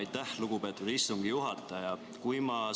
Aitäh, lugupeetud istungi juhataja!